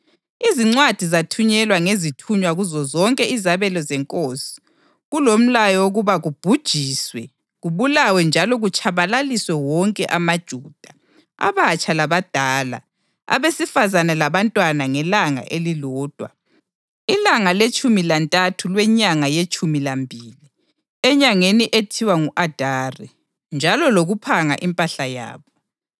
Izincwadi zathunyelwa ngezithunywa kuzozonke izabelo zenkosi kulomlayo wokuba kubhujiswe, kubulawe njalo kutshabalaliswe wonke amaJuda, abatsha labadala, abesifazane labantwana ngelanga elilodwa, ilanga letshumi lantathu lwenyanga yetshumi lambili, enyangeni ethiwa ngu-Adari, njalo lokuphanga impahla yabo.